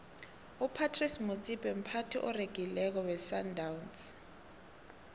upratice motsipe mphathi oregileko wesandawnsi